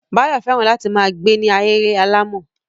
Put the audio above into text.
Báyọ̀ fẹ́ràn láti ma gbe ni ahéré alàmọ̀.